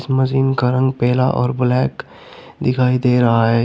इस मशीन का रंग पीला और ब्लैक दिखाई दे रहा है।